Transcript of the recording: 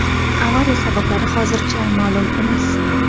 Avariya sabablari hozircha ma’lum emas.